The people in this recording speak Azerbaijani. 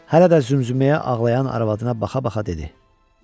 Hələ də zümzüməyə ağlayan arvadına baxa-baxa dedi: